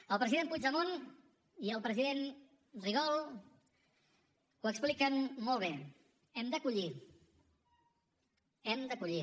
el president puigdemont i el president rigol ho expliquen molt bé hem de collir hem de collir